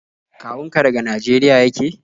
Kawun ka daga Nageriya yake?